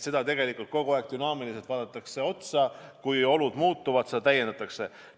Loodan, et sellele vaadatakse tegelikult dünaamiliselt otsa ja kui olud muutuvad, siis seda täiendatakse.